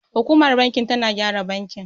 Hukumar bankin tana gyara bakin.